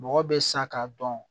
Mɔgɔ bɛ sa k'a dɔn